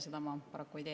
Seda ma paraku ei tee.